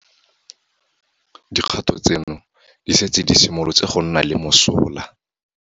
Dikgato tseno di setse di simolotse go nna le mosola.